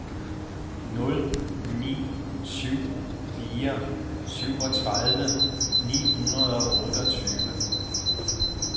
nul ni syv fire syvogtredive ni hundrede og otteogtyve